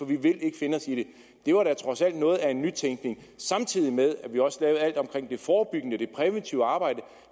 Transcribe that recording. vi vil ikke finde os i det det var dog trods alt noget af en nytænkning samtidig med at vi også lavede alt omkring det forebyggende det præventive arbejde